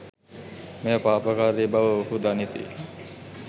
මෙය පාපකාරී බව ඔවුහු දනිති.